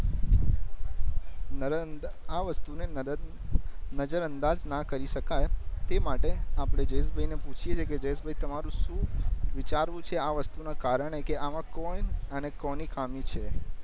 નરેન્દ આ વસ્તુ ને નરેન્દ નજર અંદાજ ના કરી સકાય તે માટે આપડે જયેશભઈ ને પૂછીએ છે કે જયેશભઈ તમારું શું વિચારવું છે આ વસ્તુ ના કારણે કે આમાં કોણ અને કોની ખામી છે